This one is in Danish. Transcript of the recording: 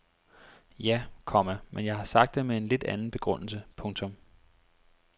Ja, komma men jeg har sagt det med en lidt anden begrundelse. punktum